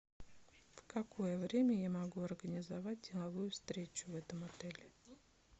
в какое время я могу организовать деловую встречу в этом отеле